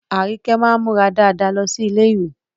Arike máa ń múra dáadáa lọ sí ilé-ìwé